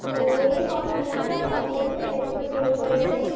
ମୁଁ ଏଇ ବସିଛି ଆଉ କଣ କରିବି? ଆଜି ତ tuition ନାହିଁ।